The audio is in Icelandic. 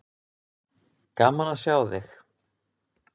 Gaman að sjá þig.